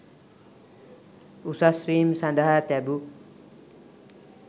උසස් වීම් සඳහා තැබු